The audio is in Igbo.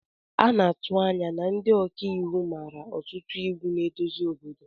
A na-atụ anya na ndị ọka iwu mara ọtụtụ iwu na-eduzi obodo ahụ